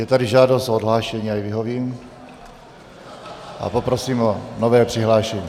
Je tady žádost o odhlášení, já jí vyhovím a poprosím o nové přihlášení.